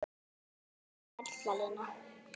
Þú ert perla Lína!